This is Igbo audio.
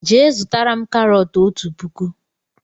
Jee zụtara mụ karot ọtu pụkụ!!!!